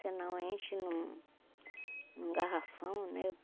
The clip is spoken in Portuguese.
Senão enche num num garrafão, né?